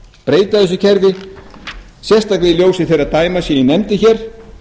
breyta þessu kerfi sérstaklega í ljósi þeirra dæma sem ég nefndi hér